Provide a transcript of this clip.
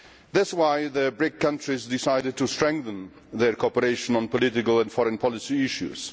That is why the BRICS countries have decided to strengthen their cooperation on political and foreign policy issues.